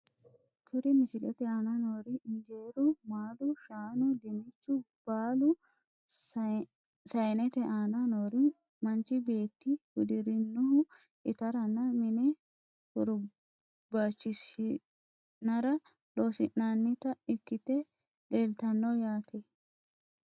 Kuri misilete aana noori injeeru maalu shaanu dinichu baalu sayinete aana noori manchi beeti hudirinohu itarana mine hurbachishinara losinanita ikite leltano yaate.